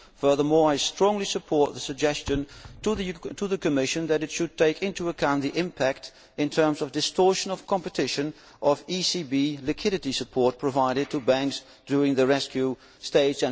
Furthermore, I strongly support the suggestion to the Commission that it should take into account the impact, in terms of distortion of competition, of ECB liquidity support provided to banks during the rescue stage.